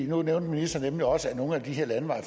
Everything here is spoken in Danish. nu nævnte ministeren også at nogle af de her landeveje